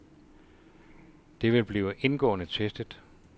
Det vil blive indgående testet.